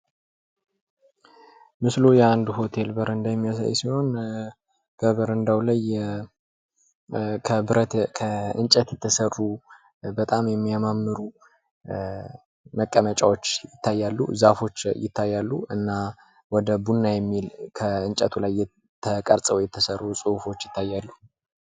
ምስሉ የአንድ ሆቴል በረዳ የሚያሳይ ሲሆን ከበረዳው ላይ ከእንጨት የተሰሩ በጣም የሚያማምሩ መቀመጫዎች ይታያሉ። ዛፎች ይታያሉ እና ወደ ቡና የሚል ከእንጨቱ ላይ ተቀርፀው የተሰሩ ፅሁፎች ይታያሉ።